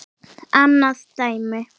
Annað dæmi